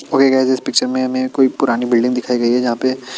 okay guys इस picture में हमें कोई पुरानी बिल्डिंग दिखाई गई है जहाँ पे ----